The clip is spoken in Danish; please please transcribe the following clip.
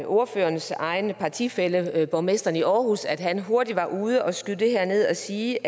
ordførerens egen partifælle borgmesteren i aarhus at han hurtigt var ude og skyde det her ned og sige